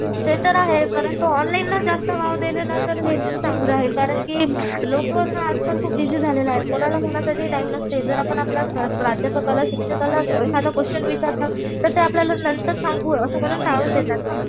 ते तर आहे परंतु ऑनलाईनला जास्त वाव दिले ना तर तेच चांगलं राहील कारण की लोकं आजकाल खूप बीजी झालेले आहेत कोणाला कोणासाठी टाइम नसतंय. जर आपण आपलं प्राध्यापकाला शिक्षकाला एखादं क्वेश्चन विचारलं तर ते आपल्याला नंतर सांगू असं करू टाळून देतात ना.